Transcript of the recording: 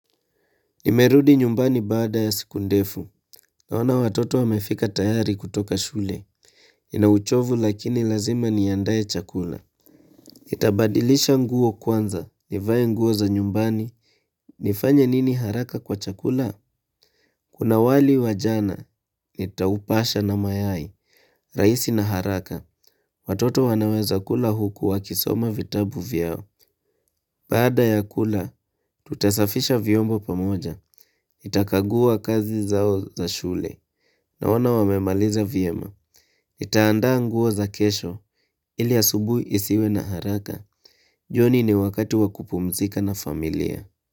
Nimerudi nyumbani baada ya siku ndefu, naona watoto wamefika tayari kutoka shule, nina uchovu lakini lazima niandae chakula. Nitabadilisha nguo kwanza, nivae nguo za nyumbani, nifanye nini haraka kwa chakula? Kuna wali wa jana, nitaupasha na mayai, rahisi na haraka, watoto wanaweza kula huku wakisoma vitabu vyao. Baada ya kula, tutasafisha vyombo pamoja, nitakagua kazi zao za shule, naona wamemaliza vyema, nitaandaa nguo za kesho, ili asubuhi isiwe na haraka, jioni ni wakati wa kupumzika na familia.